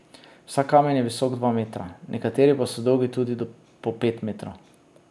Vsak kamen je visok dva metra, nekateri pa so dolgi tudi po pet metrov.